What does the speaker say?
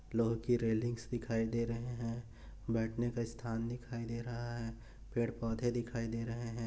लोहे के रेलिंग्स दिखाई दे रहे है बैठने का स्थान दिखाई दे रहा है पेड़ पौधे दिखाई दे रहे है।